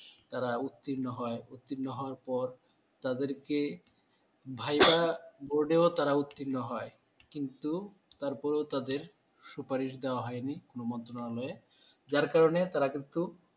তারা উত্তীর্ণ হয়। উত্তীর্ণ হবার পর তাদেরকে viva board তারা উত্তীর্ণ হয়। কিন্তু তারপরে তাদের সুপারিশ দেওয়া হয়নি কোনো মন্ত্রণালয়ে, যার কারনে তারা কিন্তু